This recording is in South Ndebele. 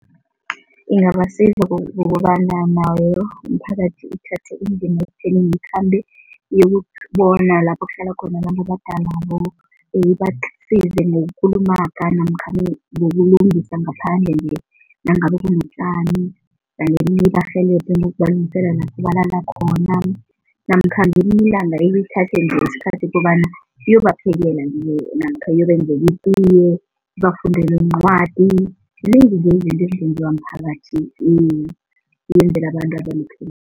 Ingabasiza ngokobana nawo umphakathi uthathe indima ikhambe iyokubona lapho kuhlala khona abantu abadalabo, ibasize ngokukulumaga namkha-ke ngokulungisa ngaphandle nangabe kunotjani ibarhelebhe ngokubalungisela lapho balala khona namkha ngelinye ilanga nje isikhathi ukobana niyobaphekela namkha uyobenzela itiye, sibafundele iincwadi, zinengi izinto ezingenziwa mphakathi abantu